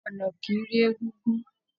Ọna kìí rí egúngún